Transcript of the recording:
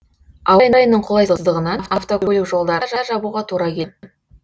ауа райының қолайсыздығынан автокөлік жолдарын да жабуға тура келді